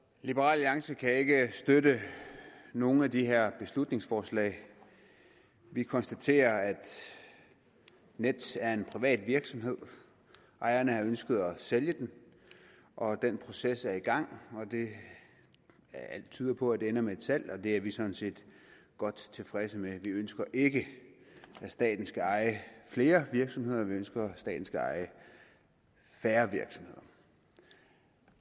liberal alliance kan ikke støtte nogen af de her beslutningsforslag vi konstaterer at nets er en privat virksomhed ejerne har ønsket at sælge den og den proces er i gang alt tyder på at det ender med et salg og det er vi sådan set godt tilfredse med vi ønsker ikke at staten skal eje flere virksomheder vi ønsker at staten skal eje færre virksomheder